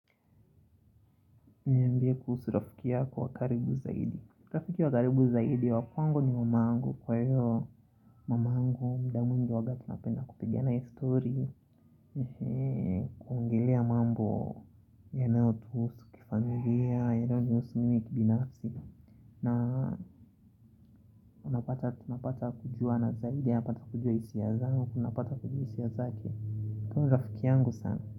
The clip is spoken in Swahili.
Niambie kuhusu rafiki yako wa karibu zaidi. Rafiki wa karibu zaidi, wa kwangu ni mama yangu. Kwa hivyo mamangu, muda mwingi wakati napenda kupigi na yeye stori. Kuongelea mambo, yanayo tuhusu kifamilia, yanayonihusu mimi kibinafsi. Na, unapata, tunapata kujuana zaidi, anapata kujua hisia zangu, napata kujua hisia zake. Kwa hivyo ni rafiki yangu sana.